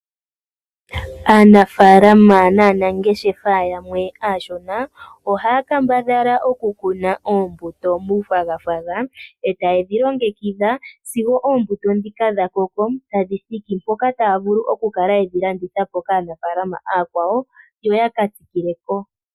Aanafalama naanangeshefa yamwe aashona ohaya kambadhala okukuna oombuto muufwagafwaga e taye dhi longekidha sigo oombuto ndhika dha koko tadhi thiki mpoka taya vulu okukala yedhi landithapo kaanafalama aakwawo yo ya ka tsikileko.